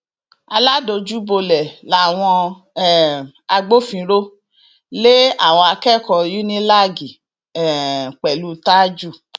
aládojúbolẹ làwọn um agbófinró lé àwọn akẹkọọ unilag um pẹlú tajú